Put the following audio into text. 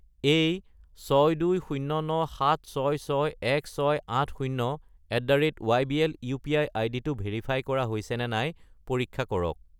এই 62097661680@ybl UPI. আইডিটো verify কৰা হৈছেনে নাই পৰীক্ষা কৰক।